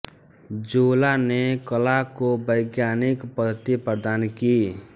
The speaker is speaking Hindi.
जोला ने कला को वैज्ञानिक पद्धति प्रदान की